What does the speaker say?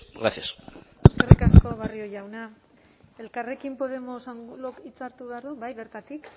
gracias eskerrik asko barrio jauna elkarrekin podemos angulo hitza hartu behar du bai bertatik